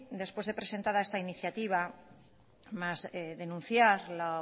después de presentada esta iniciativa más denunciar la